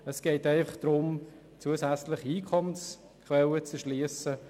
Es geht einfach darum, eine zusätzliche Einkommensquelle zu erschliessen.